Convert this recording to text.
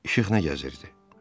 İşıq nə gəzirdi?